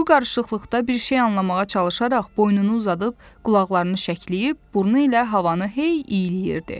Bu qarışıqlıqda bir şey anlamağa çalışaraq boynunu uzadıb, qulaqlarını şəkləyib, burnu ilə havanı hey iyləyirdi.